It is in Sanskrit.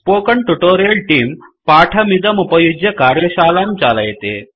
स्पोकेन ट्यूटोरियल् तेऽं पाठमिदमुपयुज्य कार्यशालां चालयति